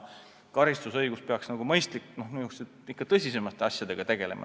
Karistusõigus peaks ikka tõsisemate asjadega tegelema.